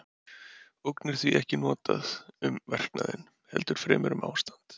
ógn er því ekki notað um verknaðinn heldur fremur um ástand